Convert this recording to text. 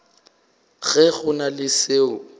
ge go na le seo